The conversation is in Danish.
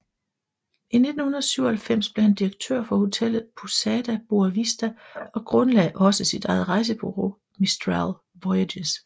I 1997 blev han direktør for hotellet Pousada Boa Vista og grundlagde også sit eget rejsebureau Mistral Voyages